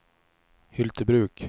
Hyltebruk